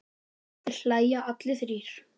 Þeir hlæja allir þrír.